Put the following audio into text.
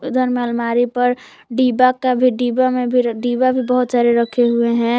इधर में अलमारी पर डिब्बा का भी डिब्बा में भी डिब्बा भी बहुत सारे रखे हुए हैं।